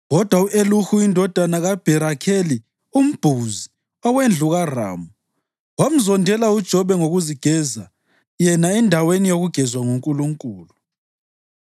Kodwa u-Elihu indodana kaBharakeli umBhuzi, owendlu kaRamu, wamzondela uJobe ngokuzigeza yena endaweni yokugezwa nguNkulunkulu.